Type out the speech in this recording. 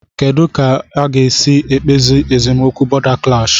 Kedụ ka a ga-esi kpezie esemokwu bọ̀da klash?